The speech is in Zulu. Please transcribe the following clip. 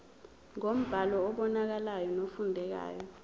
ngombhalo obonakalayo nofundekayo